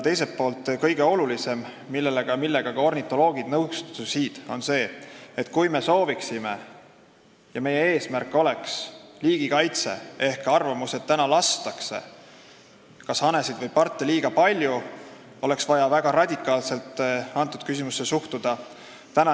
Teiselt poolt on kõige olulisem see – sellega ka ornitoloogid nõustusid –, et kui meie eesmärk on liigikaitse ehk kui arvatakse, et kas hanesid või parte lastakse liiga palju, siis oleks vaja väga radikaalselt sellesse küsimusse suhtuda.